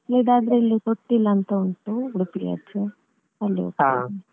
ಮಕ್ಕಳಿದ್ದಾದ್ರೆ ಇಲ್ಲಿ ತೊಟ್ಟಿಲ್ ಅಂತ ಉಂಟು Udupi ಆಚೆ ಅಲ್ಲಿಗೆ ಹೋಗ್ತೆವೆ.